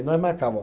E nós marcava